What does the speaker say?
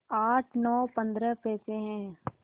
आठ नौ पंद्रह पैसे हैं